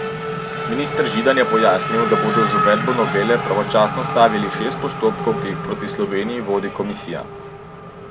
Minister Židan je pojasnil, da bodo z uvedbo novele pravočasno ustavili šest postopkov, ki jih proti Sloveniji vodi komisija.